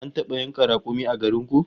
An taba yanka rakumi a garin ku?